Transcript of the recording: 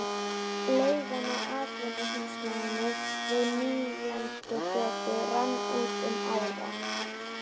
Leigan á atvinnuhúsnæðinu við Nýlendugötu rann út um ára